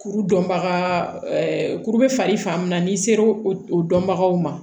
Kuru dɔnbaga kuru bɛ falen fan min na n'i sera o dɔnbagaw ma